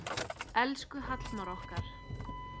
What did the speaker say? Elsku Hallmar okkar.